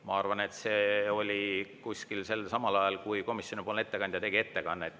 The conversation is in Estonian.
Ma arvan, et see oli samal ajal, kui komisjoni ettekandja tegi ettekannet.